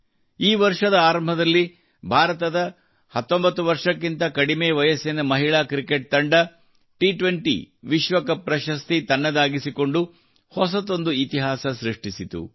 ಈ ವರ್ಷದ ಆರಂಭದಲ್ಲಿ ಭಾರತದ 19 ವರ್ಷಕ್ಕಿಂತ ಕಡಿಮೆ ವಯಸ್ಸಿನ ಮಹಿಳಾ ಕ್ರಿಕೆಟ್ ತಂಡವು ಟಿ20 ವಿಶ್ವಕಪ್ ಪ್ರಶಸ್ತಿ ತನ್ನದಾಗಿಸಿಕೊಂಡು ಹೊಸದೊಂದು ಇತಿಹಾಸ ಸೃಷ್ಟಿಸಿತು